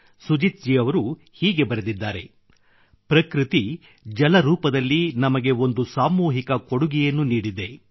ಸುಜೀತ್ ಅವರುಹೀಗೆ ಬರೆದಿದ್ದಾರೆ ಪ್ರಕೃತಿ ಜಲರೂಪದಲ್ಲಿ ನಮಗೆ ಒಂದು ಸಾಮೂಹಿಕ ಕೊಡುಗೆಯನ್ನು ನೀಡಿದೆ